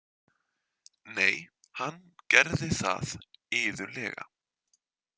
Nei, hann gerði það iðulega.